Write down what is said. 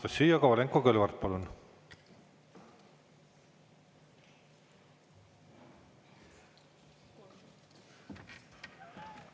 Anastassia Kovalenko-Kõlvart, palun!